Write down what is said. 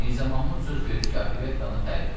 Mirzə Mahmud söz verdi ki, operettanı tərif eləsin.